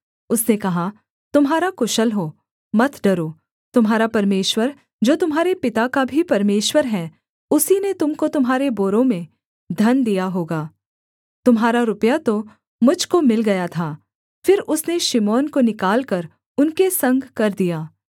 उसने कहा तुम्हारा कुशल हो मत डरो तुम्हारा परमेश्वर जो तुम्हारे पिता का भी परमेश्वर है उसी ने तुम को तुम्हारे बोरों में धन दिया होगा तुम्हारा रुपया तो मुझ को मिल गया था फिर उसने शिमोन को निकालकर उनके संग कर दिया